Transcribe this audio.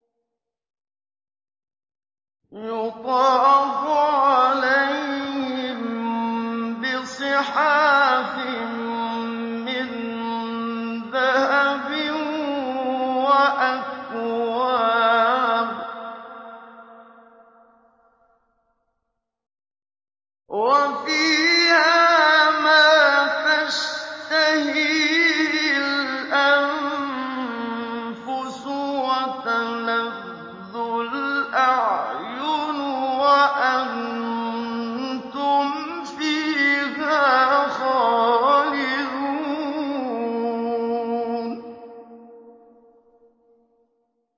يُطَافُ عَلَيْهِم بِصِحَافٍ مِّن ذَهَبٍ وَأَكْوَابٍ ۖ وَفِيهَا مَا تَشْتَهِيهِ الْأَنفُسُ وَتَلَذُّ الْأَعْيُنُ ۖ وَأَنتُمْ فِيهَا خَالِدُونَ